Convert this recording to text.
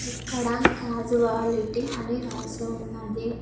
ఇక్కడ కాజువాలిటీ అని రాసి ఉన్నది.